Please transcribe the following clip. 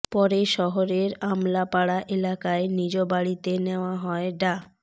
পরে শহরের আমলাপাড়া এলাকার নিজ বাড়িতে নেয়া হয় ডা